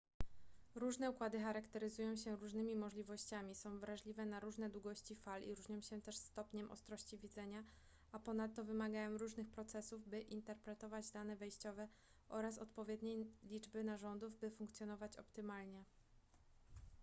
różne układy charakteryzują się różnymi możliwościami są wrażliwe na różne długości fal i różnią się też stopniem ostrości widzenia a ponadto wymagają różnych procesów by interpretować dane wejściowe oraz odpowiedniej liczby narządów by funkcjonować optymalnie